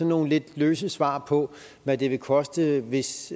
nogle lidt løse svar på hvad det vil koste hvis